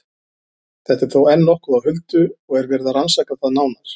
Þetta er þó enn nokkuð á huldu og er verið að rannsaka það nánar.